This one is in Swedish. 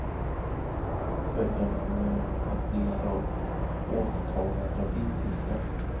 Följden kommer att bli en rad återtagna trafiktillstånd.